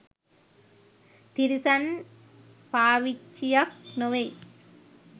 තිරිසන් පාවිච්චියක් නොවෙයි.